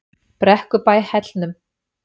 Brekkubæ Hellnum